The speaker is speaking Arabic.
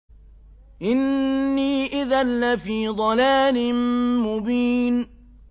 إِنِّي إِذًا لَّفِي ضَلَالٍ مُّبِينٍ